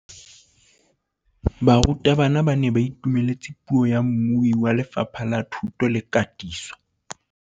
Barutabana ba ne ba itumeletse puô ya mmui wa Lefapha la Thuto le Katiso.